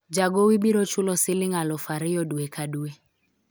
jagowi biro chulo siling alufu ariyo dwe ka dwe